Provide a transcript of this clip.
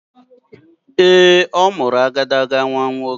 Ee, ọ mụrụ agadaga nnwa nwoke.